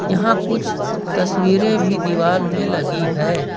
यहां कुछ तस्वीरे भी दीवाल मे लगी है।